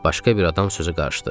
Başqa bir adam sözü qarışdı.